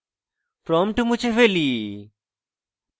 prompt মুছে ফেলি